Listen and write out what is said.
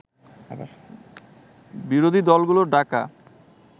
বিরোধী দলগুলোর ডাকা